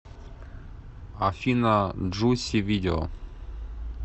афина джуси видео